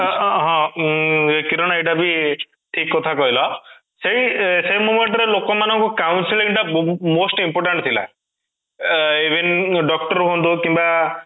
ଅଂ ଅଂ ହଁ ଉଁ କିରଣ ଭାଇ ଏଇଟା ବି ଠିକ କଥା କହିଲ ସେଇ same moment ରେ ଲୋକ ମାନଙ୍କ council ଟା ବହୁତ most important ଥିଲା ଆଁ even doctor ହୁଅନ୍ତୁ କିମ୍ବା